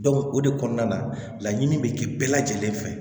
o de kɔnɔna na laɲini bɛ kɛ bɛɛ lajɛlen fɛ